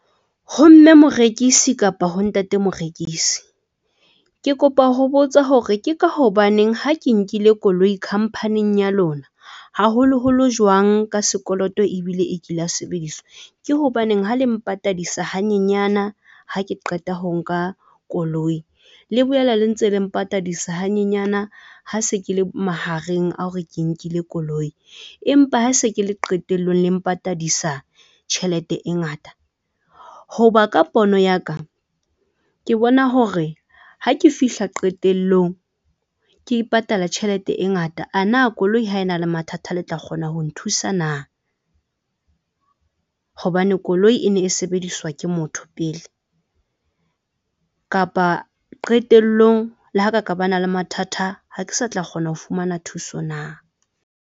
Ho mme morekisi kapa ho ntate morekisi. Ke kopa ho botsa hore ke ka hobaneng ha ke nkile koloi company-ing ya lona, haholo holo jwang ka sekoloto ebile e kile ya sebediswa, ke hobaneng ha le mpatadisa hanyenyana ha ke qeta ho nka koloi le boela le ntse le mpatadisa hanyenyane ha se ke le mahareng a hore ke nkile koloi empa ha se ke le qetellong le mpatadisa tjhelete e ngata? Hoba ka pono ya ka, ke bona hore ha ke fihla qetellong ke patala tjhelete e ngata ana, koloi ha e na le mathata, le tla kgona ho nthusa na? Hobane koloi e ne e sebediswa ke motho pele, kapa qetellong le ha ka ka bana le mathata, ha ke sa tla kgona ho fumana thuso na?